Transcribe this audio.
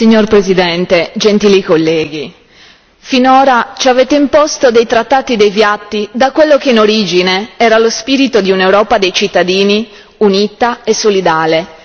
Signor Presidente, onorevoli colleghi, finora ci avete imposto dei trattati deviati da quello che in origine era lo spirito di un'Europa dei cittadini unita e solidale.